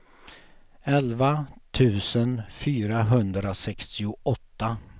elva tusen fyrahundrasextioåtta